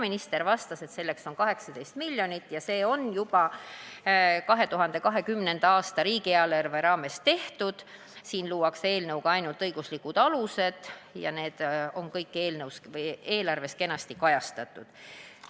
Minister vastas, et selleks on ette nähtud 18 miljonit ja sellega on juba 2020. aasta riigieelarve raames arvestatud, eelnõuga luuakse ainult õiguslikud alused ja need on kõik eelarves kenasti kajastatud.